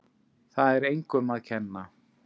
Það er engum að kenna.